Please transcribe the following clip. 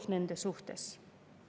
Kas Eesti inimesed saavad seeläbi õnnelikuks?